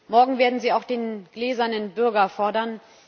Morgen werden sie auch den gläsernen Bürger fordern.